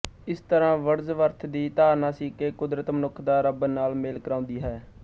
ਇਸ ਤਰ੍ਹਾਂ ਵਰਡਜ਼ਵਰਥ ਦੀ ਧਾਰਨਾ ਸੀ ਕਿ ਕੁਦਰਤ ਮਨੁੱਖ ਦਾ ਰੱਬ ਨਾਲ ਮੇਲ ਕਰਾਉਂਦੀ ਹੈ